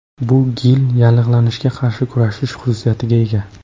Bu gil yallig‘lanishga qarshi kurashish xususiyatiga ega.